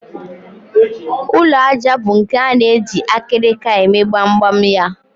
Ụlọ àjà bụ nke a na-eji akịrịka eme gbamgbam ya